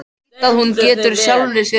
Veit að hún getur sjálfri sér um kennt.